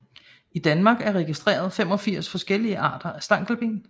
I Danmark er registreret 85 forskellige arter af stankelben